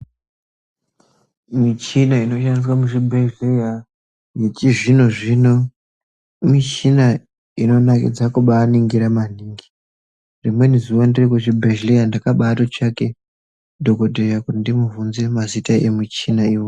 Michina inowanikwe muzvibhedhlera yechizvino zvino michina inonakidze kubaaningira maningi. Rimweni zuwa ndiri kuchibhedhlera ndakabaatsvake dhokodheya kuti ndimubvunze mazita emichinayo.